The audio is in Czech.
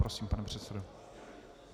Prosím, pane předsedo.